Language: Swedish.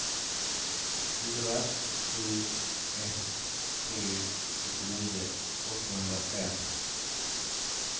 fyra sju ett tre sjuttionio åttahundrafem